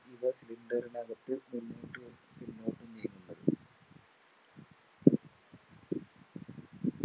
ഇവ Cylinder നകത്ത്